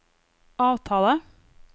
avtale